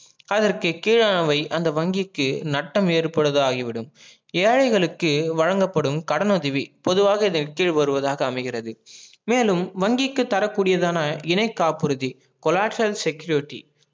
அதற்கு கிழானவை அந்த வங்கிக்கு நட்டம் ஏற்படுதாகி விடும் ஏழைகளுக்கு வழங்கப்படும் கடன் உதவி பொதுவாக அமைகிறது மேலும் வங்கிக்கு தரக்குடியதான இணைகாப்புருதி collateral security